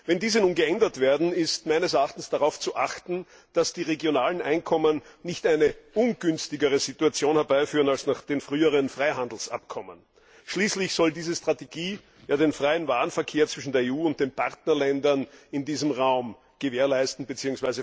Wenn diese nun geändert werden, ist meines Erachtens darauf zu achten, dass die regionalen Einkommen nicht eine ungünstigere Situation herbeiführen als nach den früheren Freihandelsabkommen. Schließlich soll diese Strategie den freien Warenverkehr zwischen der EU und den Partnerländern in diesem Raum gewährleisten bzw.